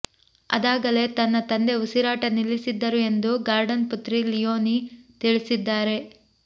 ಅದಾಗಲೇ ತನ್ನ ತಂದೆ ಉಸಿರಾಟ ನಿಲ್ಲಿಸಿದ್ದರು ಎಂದು ಗಾರ್ಡನ್ ಪುತ್ರಿ ಲಿಯೋನಿ ತಿಳಿಸಿದ್ದಾರೆ